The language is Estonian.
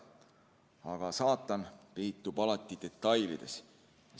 Aga saatan peitub alati detailides.